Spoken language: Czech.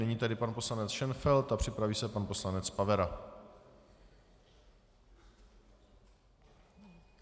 Nyní tedy pan poslanec Šenfeld a připraví se pan poslanec Pavera.